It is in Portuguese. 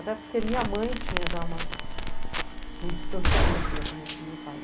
Até porque minha mãe tinha já uma, um distanciamento da família do meu pai, né?